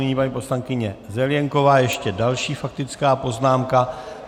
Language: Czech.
Nyní paní poslankyně Zelienková, ještě další faktická poznámka.